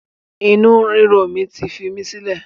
Inu ríro mi ti fi í sílẹ̀